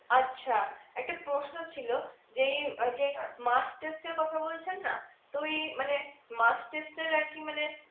আচ্ছা একটা প্রশ্ন ছিলো যেই অ্যাঁ যেই এর কথা বলছেন না তো এই মানে এর মানে